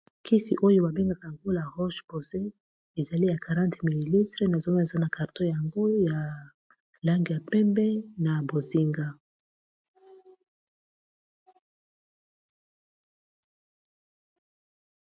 kisi oyo babengaka yango la roche posé ezali ya 40 m00li nazomeesa na karton yango ya lange ya pembe na bozinga